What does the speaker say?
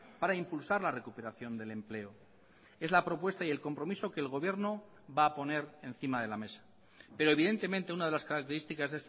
para impulsar la recuperación del empleo es la propuesta y el compromiso que el gobierno va a poner encima de la mesa pero evidentemente una de las características